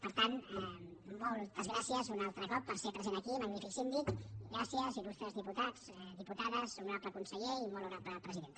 per tant moltes gràcies un altre cop per ser present aquí magnífic síndic gràcies il·lustres diputats dipu·tades honorable conseller i molt honorable presidenta